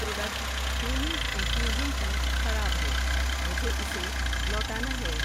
Product Twinings infusion tea خراب ہے، مجھے اسے لوٹانا ہے۔